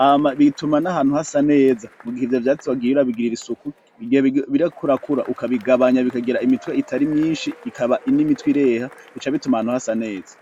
hama bituma n'ahantu hasa neza mu gihe ivyo vyatsi wagiye urabigirira isuku, mu gihe biriko birakura ukabigabanya bikagira imitwe itari myinshi, ikaba n'imitwe ireha, bica bituma ahantu hasa neza.